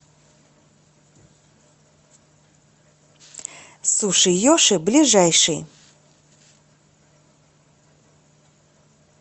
суши йоши ближайший